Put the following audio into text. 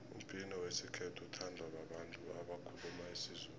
umbhino wesikhethu uthandwa babantu abakhuluma isizulu